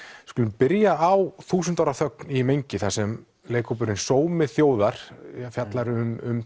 skulum byrja á þúsund ára þögn í mengi þar sem leikhópurinn sómi þjóðar fjallar um